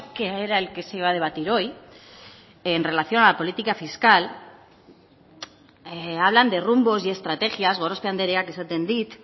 que era el que se iba a debatir hoy en relación a la política fiscal hablan de rumbos y estrategias gorospe andereak esaten dit